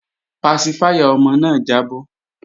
Pasifáyà ọmọ náà jábọ́